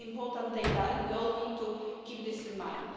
This is important data and we all need to keep this in mind.